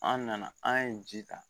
An nana an ye ji ta